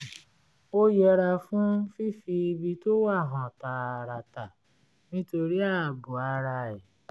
ó yẹra fún fífi ibi tó wà hàn tààràtà nítorí ààbò ara ẹ̀